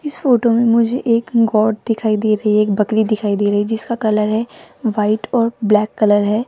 इस फोटो में मुझे एक गोट दिखाई दे रही है एक बकरी दिखाई दे रही है जिसका कलर है व्हाइट और ब्लैक कलर है।